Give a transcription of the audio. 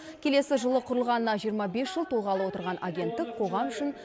келесі жылы құрылғанына жиырма бес жыл толғалы отырған агенттік қоғам үшін